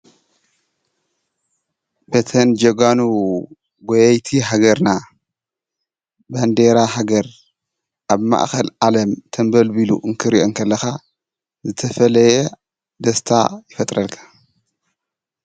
እተን ጀጋኑ ጎየይቲ ሃገርና ባንዴራ ሃገር ኣብ ማእከል ዓለም ተንበልቢሉ ክትሪኦ ከለካ ዝተፈለየ ደስታ ይፈጥረልካ፡፡